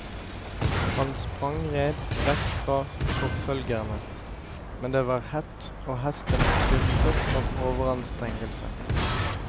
Han sprengred vekk fra forfølgerne, men det var hett og hesten styrtet av overanstrengelse.